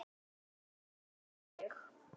Laug og laug.